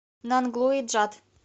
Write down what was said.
нанглои джат